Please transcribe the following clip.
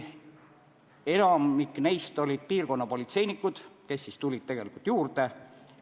Enamik neist töötajaist olid piirkonnapolitseinikud, keda siis tegelikult juurde tuli.